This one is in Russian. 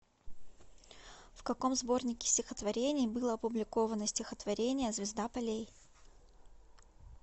в каком сборнике стихотворений было опубликовано стихотворение звезда полей